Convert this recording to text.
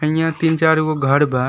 इहां तीन चार गो घर बा।